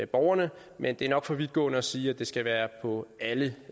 borgerne men det er nok for vidtgående at sige at det skal være på alle